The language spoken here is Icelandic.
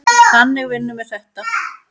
Þannig vinnum við þetta.